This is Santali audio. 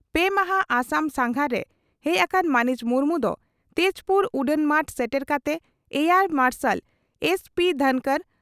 ᱯᱮ ᱢᱟᱦᱟᱸ ᱟᱥᱟᱢ ᱥᱟᱸᱜᱷᱟᱨ ᱨᱮ ᱦᱮᱡ ᱟᱠᱟᱱ ᱢᱟᱹᱱᱤᱡ ᱢᱩᱨᱢᱩ ᱫᱚ ᱛᱮᱡᱽᱯᱩᱨ ᱩᱰᱟᱹᱱᱢᱟᱴ ᱥᱮᱴᱮᱨ ᱠᱟᱛᱮ ᱮᱭᱟᱨ ᱢᱟᱨᱥᱟᱞ ᱮᱥᱹᱯᱤᱹ ᱫᱷᱚᱱᱠᱚᱨ